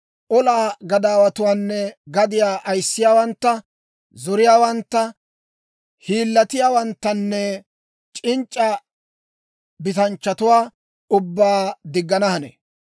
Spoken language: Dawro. olaa gadaawatuwaanne gadiyaa ayissiyaawantta, zoriyaawantta, hiillatiyaawanttanne c'inc'c'a bitanchchatuwaa ubbaa diggana hanee.